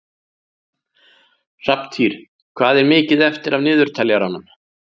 Hrafntýr, hvað er mikið eftir af niðurteljaranum?